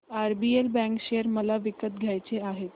RBL bank share मला विकत घ्यायचे आहेत